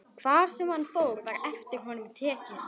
Hvar sem hann fór var eftir honum tekið.